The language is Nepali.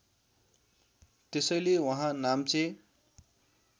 त्यसैले उहाँ नाम्चे